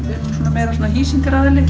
meira svona